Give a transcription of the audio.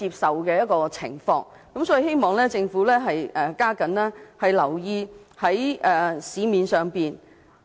所以，我希望政府加緊留意市場上的中藥材。